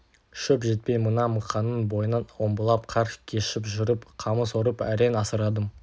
шөп жетпей мына мықанның бойынан омбылап қар кешіп жүріп қамыс орып әрең асырадым